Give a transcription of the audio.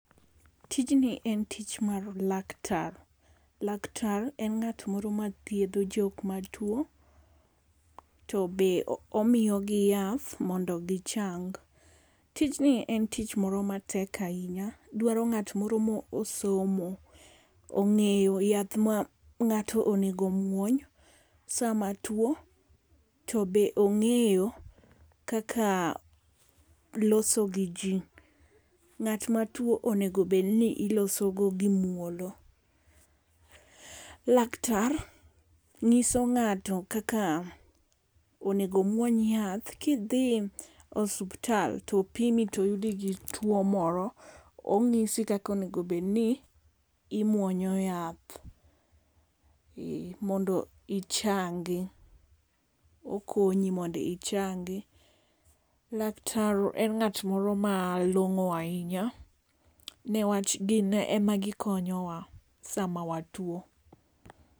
Tijni en tich mar laktar. Laktar en ngát moro ma thiedho jok ma two, to be omiyo gi yath mondo gi chang. Tijni en tich moro matek ahinya, dwaro ngát moro mo osomo, ongéyo yath ma ngáto onego omwony sama two. To be ongéyo kaka loso gi ji. Ngát ma two onego bed ni iloso go gi muolo. Laktar ngíso ngáto kaka onego omwony yath. Kidhi osiptal, to opimi, to oyudi ka in gi two moro ongísi kaka onego bed ni imwonyo yath. E. Mondo ichangi. Okonyi mondo ichangi. Laktar en ngát moro ma longó ahinya, ne wach gin ema gikonyowa sama watwo.